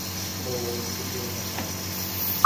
ооо студио на карте